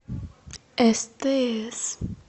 стс